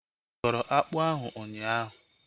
Ịkọrọ akpụ ahu ụnyaahụ?